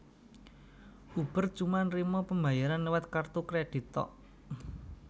Uber cuma nerimo pembayaran liwat kartu kredit tok